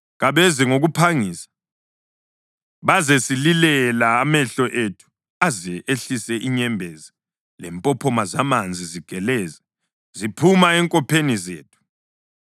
Kabeze ngokuphangisa, bazesililela amehlo ethu aze ehlise inyembezi lempophoma zamanzi zigeleze, ziphuma enkopheni zethu.”